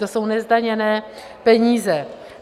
To jsou nezdaněné peníze.